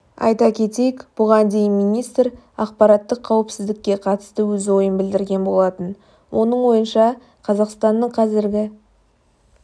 айта кетейк бұған дейін министр ақпараттық қауіпсіздікке қатысты өз ойын білдірген болатын оның ойынша қазақстанның қазіргі